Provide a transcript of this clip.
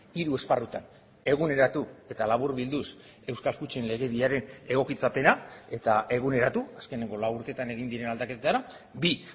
hiru esparrutan eguneratu eta laburbilduz euskal kutxen legediaren egokitzapena eta eguneratu azkeneko lau urtetan egin diren aldaketara bi